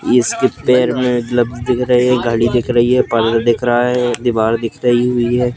इसके पैर में दिख रहे हैं गाड़ी दिख रही है पार्लर देख रहा है दीवार दिख रही हुई है।